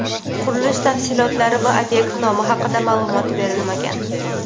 Qurilish tafsilotlari va ob’ekt nomi haqida ma’lumot berilmagan.